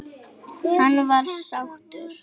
Hann var sáttur.